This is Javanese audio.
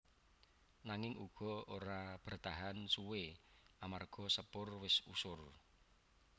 Nanging uga ora bertahan suwé amarga Sepur wis usur